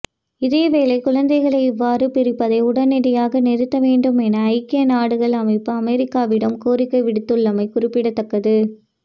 இதேவேளை குழந்தைகளை இவ்வாறு பிரிப்பதை உடனடியாக நிறுத்த வேண்டும் என ஐக்கிய நாடுகள் அமைப்பு அமெரிக்காவிடம் கோரிக்கை விடுத்துள்ளமை குறிப்பிடத்தக்கது